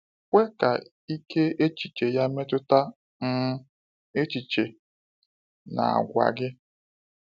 Kwe ka ike echiche ya metụta um echiche na àgwà gị.